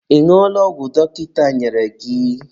Ị ñụọla ọgwụ dọkịta nyere gị?